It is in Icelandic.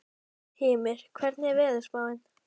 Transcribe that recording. Hymir, hvernig er veðurspáin?